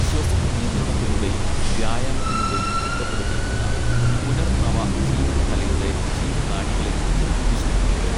ശ്വസന നിയന്ത്രണത്തിലൂടെയും വ്യായാമത്തിലൂടെയും ചിട്ടപ്പെടുത്തിയിട്ടുള്ള പുനർനവ ജീവനകലയുടെ ജീവനാഡികളെക്കുറിച്ച് വിശദീകരിച്ചു